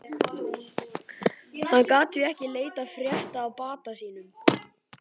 Hann gat því ekki leitað frétta af bata sínum.